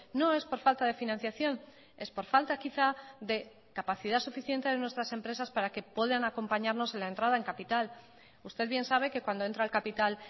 no es por falta de financiación es por falta quizá de capacidad suficiente de nuestras empresas para que puedan acompañarnos en la entrada en capital usted bien sabe que cuando entra el capital